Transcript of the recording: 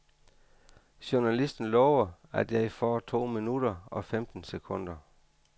Journalisten lover, at jeg får to minutter og femten sekunder.